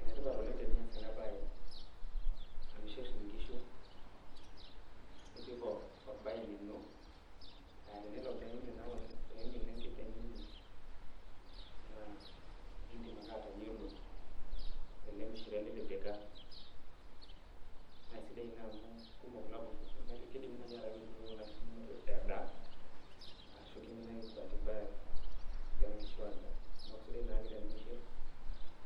Enetipat oleng tenias enabae, amishir inkishu, nitum orbae lino, ah tenelo pimina enkiteng ino, naa idim ake atayiolo tele mishire litipika. Nasidai ina amu kumok ilapurrok, kidimi nai ataa kepurrori kuna kishu nonok endaa, ashu kimina ake bati mbaya, egira nkishu adaa. Neeku sidai naake tenimishir,